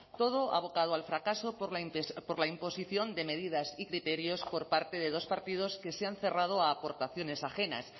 todo abocado al fracaso por la imposición de medidas y criterios por parte de dos partidos que se han cerrado a aportaciones ajenas